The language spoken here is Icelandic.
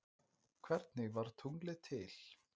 hvernig varð tunglið til